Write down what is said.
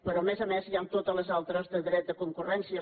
però a més a més hi han totes les altres de dret de concurrència